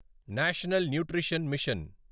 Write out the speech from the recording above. national nutrition machine